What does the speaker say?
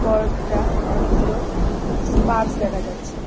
কয়েকটা অনেকগুলো স্পার্স দেখা যাচ্ছে।